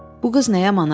Bu qız nə yaman arıxdı.